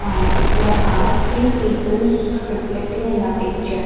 And there are three people reflecting in the picture.